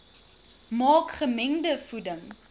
maak gemengde voeding